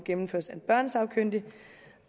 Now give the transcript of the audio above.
en kiosk